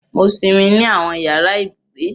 Mo sinmi ni awọn yara ibugbe.